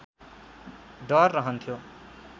डर रहन्थ्यो